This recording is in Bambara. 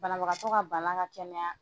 Banabagatɔ ka bana ka kɛnɛya,